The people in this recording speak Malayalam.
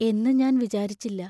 എന്നു ഞാൻ വിചാരിച്ചില്ല.